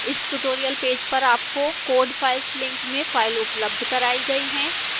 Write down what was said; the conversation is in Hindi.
इस tutorial पेज पर आपको code files link में file उपलब्ध कराई गई है